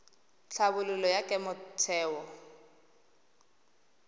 tlhabololo ya kemo ya theo